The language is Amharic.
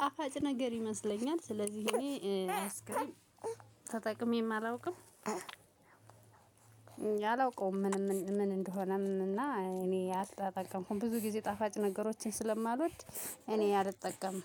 ጣፋጭ ነገር ይመስለኛል ስለዚህ እኔ አይስክሬም ተጠቅሜም አላውቅም። አላውቀውም ምን ምን እንደሆነም እና እኔ አልተጠቀምኩም ብዙ ጊዜ ጣፋጭ ነገሮችን ስለማልወድ እኔ አልጠቀምም።